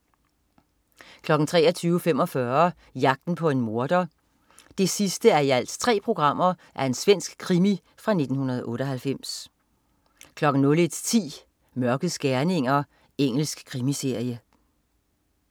23.45 Jagten på en morder 3:3. Svensk krimi fra 1998 01.10 Mørkets gerninger. Engelsk krimiserie